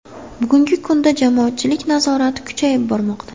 Bugungi kunda jamoatchilik nazorati kuchayib bormoqda.